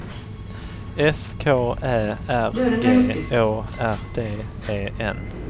S K Ä R G Å R D E N